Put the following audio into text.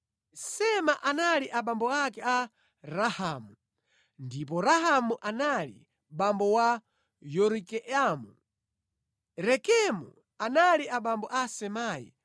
Sema anali abambo ake Rahamu ndipo Rahamu anali abambo a Yorikeamu. Rekemu anali abambo a Samai.